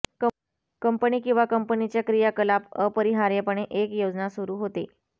company किंवा कंपनीच्या क्रियाकलाप अपरिहार्यपणे एक योजना सुरू होते